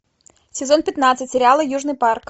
сезон пятнадцать сериала южный парк